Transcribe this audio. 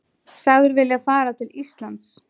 Sagður vilja fara til Íslands